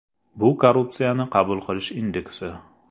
Bu korrupsiyani qabul qilish indeksi.